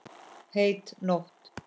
Heit nótt.